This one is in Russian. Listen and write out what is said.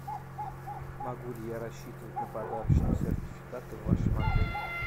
могу ли я рассчитывать на подарочный сертификат в вашем отеле